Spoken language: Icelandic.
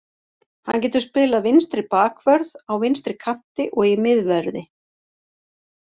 Hann getur spilað vinstri bakvörð, á vinstri kanti og í miðverði.